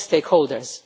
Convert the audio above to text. all the stakeholders.